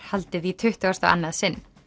haldið í tuttugasta og annað sinn